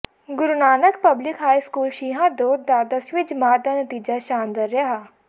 ਗੁਰੂ Nanak public high school Shihan Daud ਦਾ ਦਸਵੀਂ ਜਮਾਤ ਦਾ ਨਤੀਜਾ ਸ਼ਾਨਦਾਰ ਰਿਹਾ